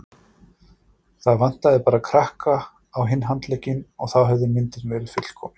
Það vantaði bara krakka á hinn handlegginn og þá hefði myndin verið fullkomin.